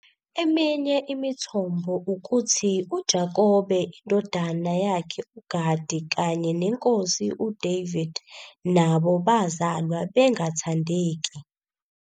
Eminye imithombo ukuthi uJakobe, indodana yakhe uGadi kanye neNkosi uDavid nabo bazalwa bengathandeki.